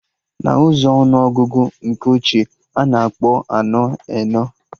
Na ụzọ ọnụ ọgụgụ nke ochie, a na-akpọ anọ, enọ